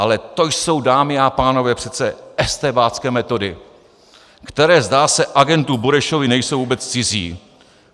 Ale to jsou, dámy a pánové, přece estébácké metody, které, zdá se, agentu Burešovi nejsou vůbec cizí.